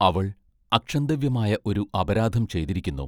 അവൾ അക്ഷന്തവ്യമായ ഒരു അപരാധം ചെയ്തിരിക്കുന്നു.